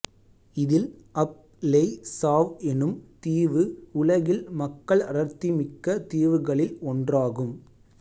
இதில் Ap Lei Chau எனும் தீவு உலகில் மக்கள் அடர்த்திமிக்க தீவுகளில் ஒன்றாகும்